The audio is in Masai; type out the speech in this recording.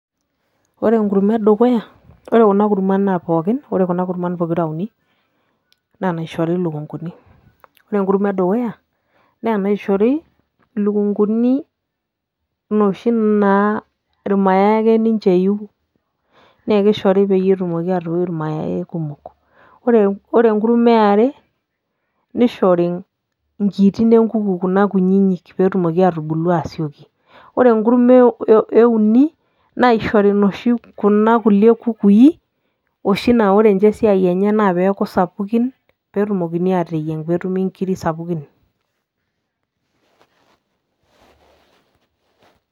Ore enkurma edukuya, ore kuna kurman pookin, ore kuna kurman pokira uni naa inaishori ilukunguni ore enkurma edukuya naa enaishori ilukunguni naa irmayai ake ninche eiu naa kishori peyie etumoki atoyiu irmayai kumok ore enkurma e are nishori nkiitin enkuku kuna kuna kunyinyik pee etumoki aatubulu aasioki, ore enkurma e uni nishori kuna kulie kukui oshi naa ore ninche esiai enye naa pee eeku sapukin pee etumokini aateyieng' pee etumi nkirri sapukin.